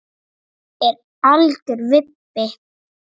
Hann er algjör vibbi.